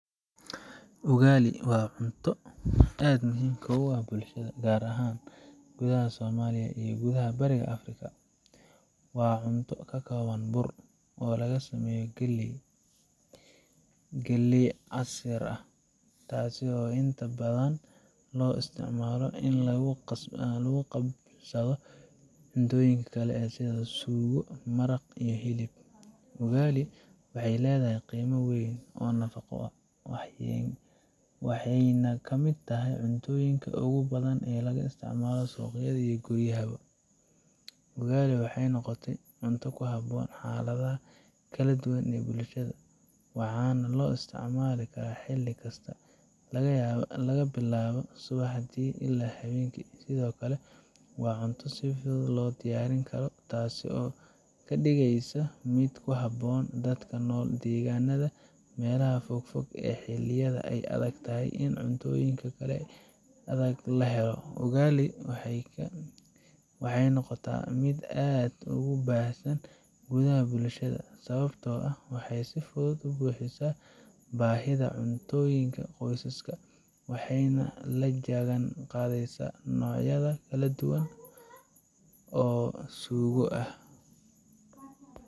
Ugali waa cunto aad muhiim ugu ah bulshada, gaar ahaan gudaha Soomaaliya iyo guud ahaan Bariga Afrika. Waa cunto ka kooban bur, oo laga sameeyo galley ama galley-casiir, taasoo inta badan loo isticmaalo in lagu qabsado cuntooyinka kale sida suugo, maraq, iyo hilib. Ugali waxay leedahay qiimo weyn oo nafaqo, waxayna ka mid tahay cuntooyinka ugu badan ee laga isticmaalo suuqyada iyo guryaha. Ugali waxay noqotay cunto ku haboon xaaladaha kala duwan ee bulshada, waxaana loo isticmaalaa xilli kasta, laga bilaabo subaxdii ilaa habeenkii. Sidoo kale, waa cunto si fudud loo diyaarin karo, taasoo ka dhigaysa mid ku habboon dadka ku nool deegaanada meelaha fogfog ama xilliyada ay adag tahay in cuntooyin kale oo adag la helo. Ugali waxay noqotaa mid aad ugu baahsan gudaha bulshada, sababtoo ah waxay si fudud u buuxisaa baahida cunto ee qoysaska, waxayna la jaan qaadayso noocyo kala duwan oo suugo ah.